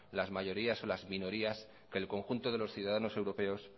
las mayorías o las minorías que el conjunto de los ciudadanos europeos